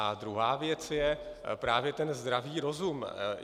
A druhá věc je právě ten zdravý rozum.